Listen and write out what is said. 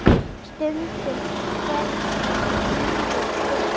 Skrýtið stundum hvernig lífið er.